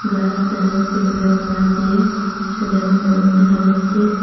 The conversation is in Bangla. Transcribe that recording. গ্লাস দেখা যাচ্ছে ফুলের মালা দিয়ে সাজানো বেলুন দেখা যাচ্ছে।